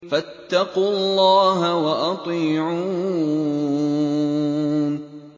فَاتَّقُوا اللَّهَ وَأَطِيعُونِ